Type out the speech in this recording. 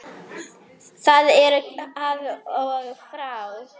Það er af og frá.